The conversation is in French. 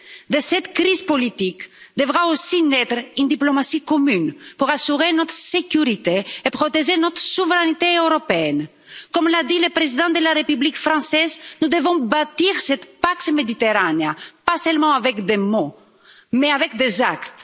De cette crise politique devra aussi naître une diplomatie commune pour assurer notre sécurité et protéger notre souveraineté européenne. Comme l'a dit le président de la République française, nous devons bâtir cette pax Mediterranea pas seulement avec des mots, mais avec des actes.